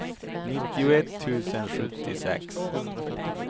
nittioett tusen sjuttiosex